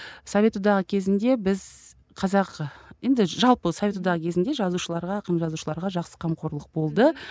совет одағы кезінде біз қазақ енді жалпы совет одағы кезінде жазушыларға ақын жазушыларға жақсы қамқорлық болды